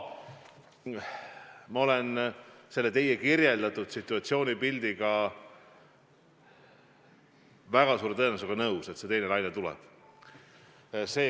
Ma olen nõus teie kirjeldatud situatsioonipildiga, et teine laine tuleb.